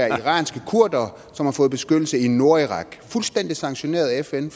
iranske kurdere som har fået fn beskyttelse i nordirak det fuldstændig sanktioneret af fn